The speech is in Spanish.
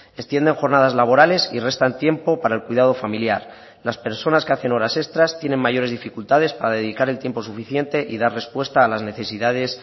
extienden jornadas laborales y restan tiempo para el cuidado familiar las personas que hacen horas extras tienen mayores dificultades para dedicar el tiempo suficiente y dar respuesta a las necesidades